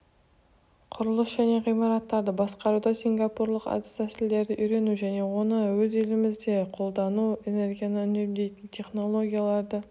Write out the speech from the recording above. құрылыс және ғимараттарды басқаруда сингапурлық әдіс-тәсілдерді үйрену және оны өз елімізде қолдану энергияны үнемдейтін технологияларды